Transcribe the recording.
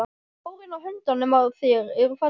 Hárin á höndunum á þér eru falleg.